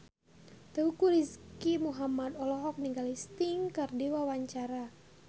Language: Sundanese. Teuku Rizky Muhammad olohok ningali Sting keur diwawancara